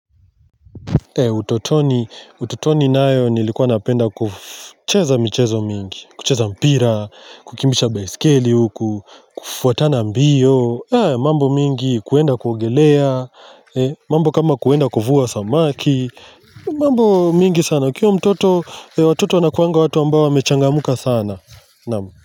Utotoni nayo nilikuwa napenda kucheza michezo mingi. Kucheza mpira, kukimbisha baisikeli huku, kufuatana mbio, mambo mingi kuenda kuogelea, mambo kama kuenda kuvua samaki, mambo mingi sana. Ukiwa mtoto, watoto wanakuanga watu ambao wamechangamka sana.